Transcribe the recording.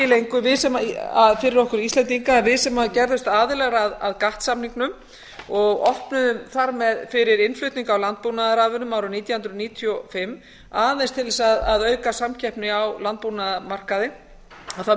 lengur fyrir okkur íslendinga að við sem gerðumst aðilar að gatt samningnum og opnuðum þar með fyrir innflutning á landbúnaðarafurðum árið nítján hundruð níutíu og fimm aðeins til þess að auka samkeppni á landbúnaðarmarkaði að það